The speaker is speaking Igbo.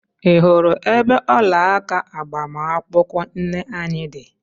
i hụrụ ebe ọlaaka agbamakwụkwọ nne anyị dị?